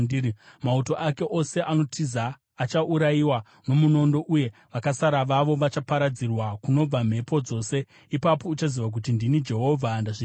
Mauto ake ose anotiza achaurayiwa nomunondo, uye vakasara vavo vachaparadzirwa kunobva mhepo dzose. Ipapo uchaziva kuti ndini Jehovha ndazvitaura.